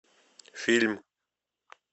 фильм